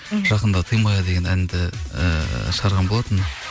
жақында ты моя деген әнді ііі шығарған болатынмын